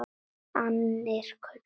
Annir kölluðu að.